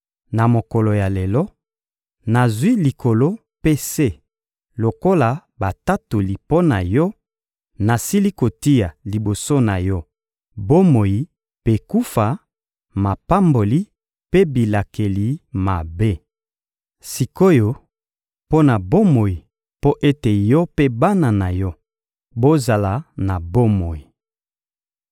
Na mokolo ya lelo, nazwi likolo mpe se lokola batatoli mpo na yo: nasili kotia liboso na yo bomoi mpe kufa, mapamboli mpe bilakeli mabe. Sik’oyo, pona bomoi mpo ete yo mpe bana na yo bozala na bomoi.